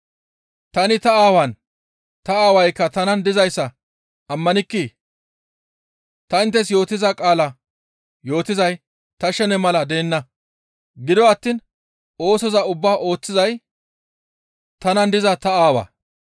Tani ta Aawaan, ta Aawaykka tanan dizayssa ammanikkii? Ta inttes yootiza qaala yootizay ta shene mala deenna; gido attiin oosoza ubbaa ooththizay tanan diza ta Aawaa.